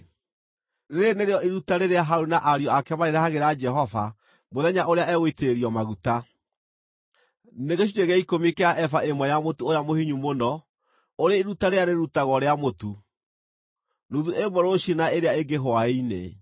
“Rĩĩrĩ nĩrĩo iruta rĩrĩa Harũni na ariũ ake marĩrehagĩra Jehova mũthenya ũrĩa egũitĩrĩrio maguta: nĩ gĩcunjĩ gĩa ikũmi kĩa eba ĩmwe ya mũtu ũrĩa mũhinyu mũno, ũrĩ iruta rĩrĩa rĩrutagwo rĩa mũtu, nuthu ĩmwe rũciinĩ na ĩrĩa ĩngĩ hwaĩ-inĩ.